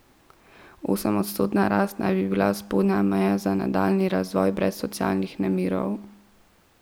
Osemodstotna rast naj bi bila spodnja meja za nadaljnji razvoj brez socialnih nemirov.